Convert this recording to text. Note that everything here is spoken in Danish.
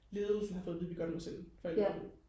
ledelsen har fået at vide at vi godt må sende forældrene ud